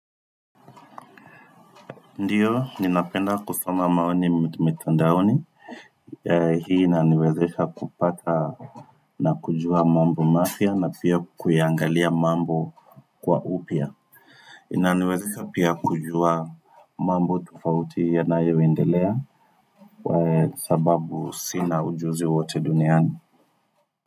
Ndiyo, ninapenda kusoma maoni mitandaoni Hii inaniwezesha kupata na kujua mambo mapya na pia kuiangalia mambo kwa upya inaniwezesha pia kujua mambo tofauti yanayoendelea Kwa sababu sina ujuzi wote duniani.